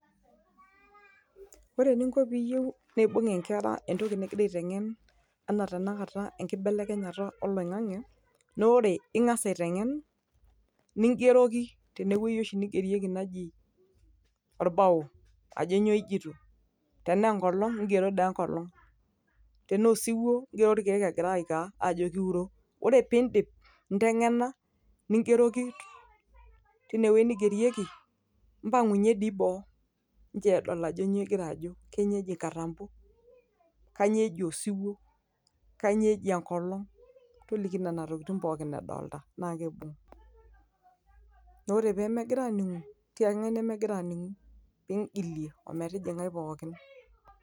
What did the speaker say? Ore pee yieu nibung nkera etoki nigira aitengen anaa tanakata ekibelekenyata oloingange, naa ore ngas aitengen nigeroki tene wueji oshi neigerieki naji orbao ajo nyoo jito, tenaa enkolong igero doi enkolong tenaa oosiwuo igero irkeek ajo kiuro. Ore pee idip aitengena nigeroki teine wueji nigerieki mpangunyie doi boo pee edol ajo kanyoo igira ajo nchoo edol katampo kanyoo eji osiuo kanyoo eji enkolong toliki nena tokitin pooki edolita na keibung. Na ore pee megira aaningu tiaki kangae nemegira aningu nigilie ometijingae pooki.